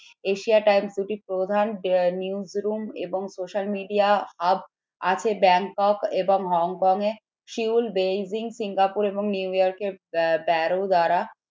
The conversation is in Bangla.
Asia times প্রধান newsroom এবং social media hub আছে ব্যাংকক এবং হংকং এর সেওল বেইজিং সিঙ্গাপুর এবং নিউ ইয়র্কের